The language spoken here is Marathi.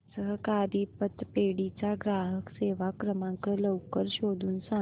सहकारी पतपेढी चा ग्राहक सेवा क्रमांक लवकर शोधून सांग